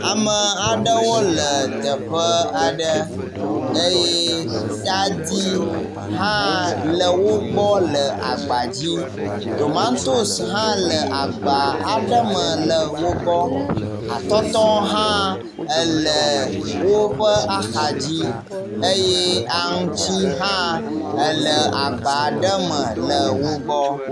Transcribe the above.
Ame aɖewo le teƒe aɖe eye tadi hã le wo gbɔ le agba dzi, tomatosi hã le agba aɖe me le wo gbɔ, atɔtɔ hã ele woƒe axadzi eye aŋuti hã le agba aɖe me le wo gbɔ.